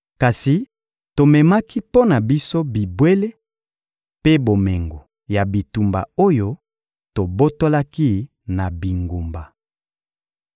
Kasi tomemaki mpo na biso bibwele mpe bomengo ya bitumba oyo tobotolaki na bingumba.